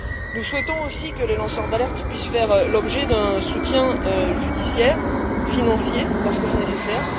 Nous souhaitons aussi que les lanceurs d'alerte puissent faire l'objet d'un soutien judiciaire financier lorsque c'est nécessaire.